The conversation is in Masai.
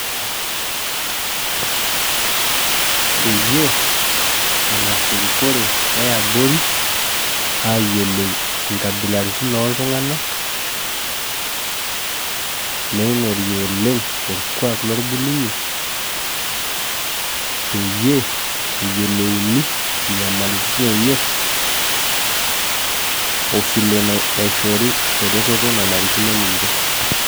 Peyieu engas erikore eabori ayiolou nkabilaitin oltunganak neingori oleng orkuak lorbulunye peyie eyiolouni nyamaritin enye ofilebnaishori eretoto nanarikino ninche.